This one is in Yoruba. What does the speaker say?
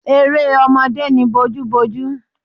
Eré ọmọdé ni bojúbojú.